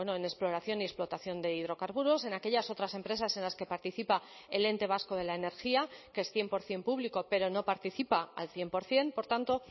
en exploración y explotación de hidrocarburos en aquellas otras empresas en las que participa el ente vasco de la energía que es cien por ciento público pero no participa al cien por ciento por tanto